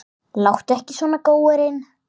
Láttu ekki svona, góurinn